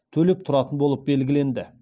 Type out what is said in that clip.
төлеп тұратын болып белгіленді